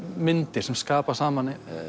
myndir sem skapa saman